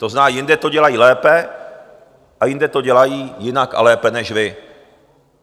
To znamená, jinde to dělají lépe a jinde to dělají jinak a lépe než vy.